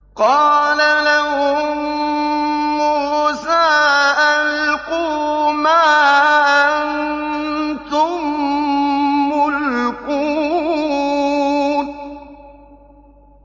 قَالَ لَهُم مُّوسَىٰ أَلْقُوا مَا أَنتُم مُّلْقُونَ